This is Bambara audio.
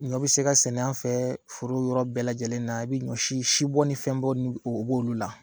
Ɲɔ bi se ka sɛnɛ an fɛ foro yɔrɔ bɛɛ lajɛlen na, i bi ɲɔsi si bɔ ni fɛn bɔ n'olu la